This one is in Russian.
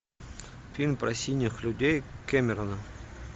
фильм про синих людей кэмерона